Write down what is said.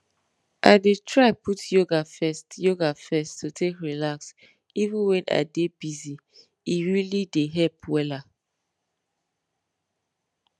i dey try put yoga first yoga first to take relax even when i dey busye really dey help wella